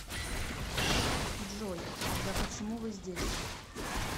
джой тогда почему вы здесь